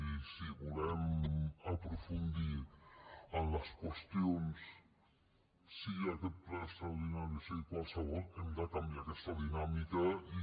i si volem aprofundir en les qüestions sigui aquest ple extraordinari o sigui qualsevol hem de canviar aquesta dinàmica i